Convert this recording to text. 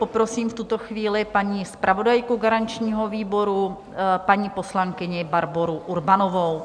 Poprosím v tuto chvíli paní zpravodajku garančního výboru, paní poslankyni Barboru Urbanovou.